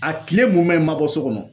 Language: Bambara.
A kile munɛ n ma bɔ so kɔnɔ